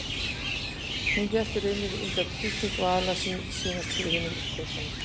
Hún lét í raun undan þrýstingi, var aðallega að sýnast fyrir hinum krökkunum.